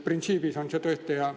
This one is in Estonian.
Printsiibina on see tõesti hea.